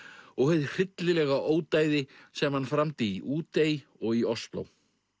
og hið hryllilega ódæði sem hann framdi í Útey og í Osló